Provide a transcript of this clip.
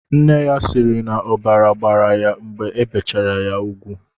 Nne ya siiri na ọbara gbara ya mgbe ebichara ya ugwu.